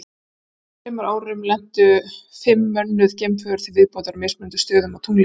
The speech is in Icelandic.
Á næstu þremur árum lentu fimm mönnuð geimför til viðbótar á mismunandi stöðum á tunglinu.